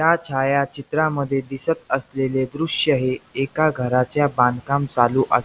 या छायाचित्रामधे दिसत असलेले दृश्य हे एका घराच्या बांधकाम चालू अस --